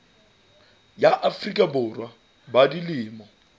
ya afrika borwa ba dilemo